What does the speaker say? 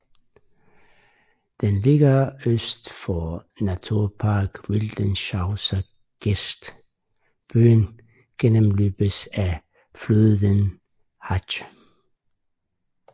Den ligger øst for Naturpark Wildeshauser Geest Byen gennemløbes af floden Hache